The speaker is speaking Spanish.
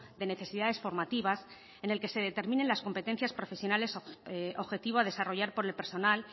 de necesidades formativas en el que se determinen las competencias profesionales objetivo a desarrollar por el personal